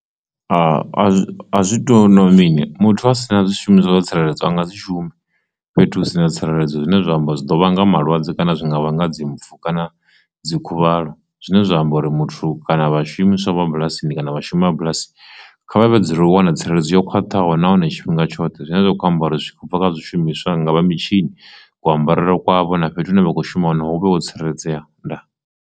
A zwi tu na mini muthu a si na zwishumiswa zwa tsireledzwa nga dzi shume fhethu hu si na tsireledzo zwine zwa amba zwi ḓo vhanga malwadze kana zwinga vhanga dzimpfu kana dzi khuvhalo, zwine zwa amba uri muthu vha shumiswa vha bulasi ndi kana vhashumi bulasi kha vha vhe dzulela u wana tsireledzo yo khwaṱhaho nahone tshifhinga tshoṱhe zwine zwa kho ambara zwikhobva kha zwi shumiswa nga vha mitshini kuambarele kwavho na fhethu hune vha kho shuma hone hu vhe wo tsireledzea ndaa.